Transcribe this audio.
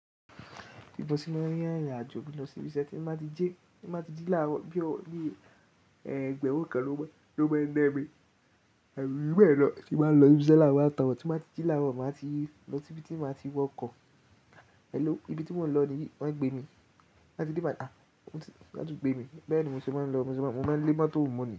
Bi mo sí mọ́n rin, ìrìn àjò mi lọ sí ibi ṣe ti máa ti jí, ti báa ti jí láàárọ̀ bí ọ, bí ẹgbẹ̀rún kan ló má, ló má ń na mí. Abí jubẹlọ lọ ti máa lọ ibi ṣe láàárọ̀ wá ta ọ̀ ti máa ti jí láàárọ̀ máa ti lọ síbi tí màá ti wọ ọkọ̀. Elo, ibi tí mò ń lọ níyi wọ́n ń gbé mi. Láti dé ibi àti pé mi, bẹ́ẹ̀ ni mo sì máa ń lọ. Mo máa ń lé mọ́tò múni.